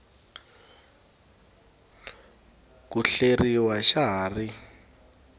ku hleriwa xa ha ri